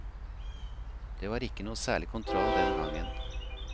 Det var ikke noe særlig kontroll den gangen.